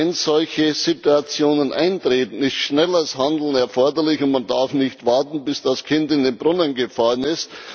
Wenn solche Situationen eintreten, ist schnelles Handeln erforderlich, und man darf nicht warten, bis das Kind in den Brunnen gefallen ist.